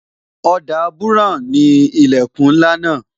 Ọ̀dà buran ni ilẹkun ńlá náà